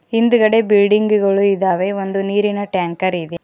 ಹಿಂದುಗಡೆ ಬಿಲ್ಡಿಂಗ್ ಗಳು ಇದಾವೆ ಒಂದು ನೀರಿನ ಟ್ಯಾಂಕರ್ ಇದೆ.